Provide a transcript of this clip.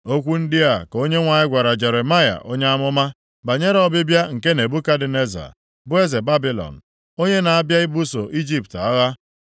Okwu ndị a ka Onyenwe anyị gwara Jeremaya onye amụma, banyere ọbịbịa nke Nebukadneza, bụ eze Babilọn, onye na-abịa ibuso Ijipt agha.